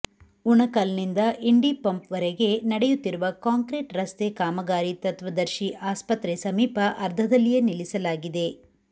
ಉಣಕಲ್ನಿಂದ ಇಂಡಿಪಂಪ್ವರೆಗೆ ನಡೆಯುತ್ತಿರುವ ಕಾಂಕ್ರೀಟ್ ರಸ್ತೆ ಕಾಮಗಾರಿ ತತ್ವದರ್ಶಿ ಆಸ್ಪತ್ರೆ ಸಮೀಪ ಅರ್ಧದಲ್ಲಿಯೇ ನಿಲ್ಲಿಸಲಾಗಿದೆ